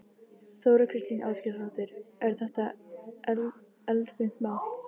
Þóra Kristín Ásgeirsdóttir: Er þetta eldfimt mál?